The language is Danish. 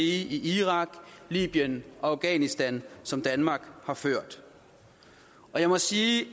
i irak libyen og afghanistan som danmark har ført og jeg må sige